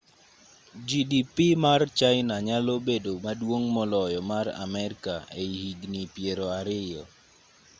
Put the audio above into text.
gdp mar china nyalo bedo maduong' moloyo mar amerka ei higni piero ariyo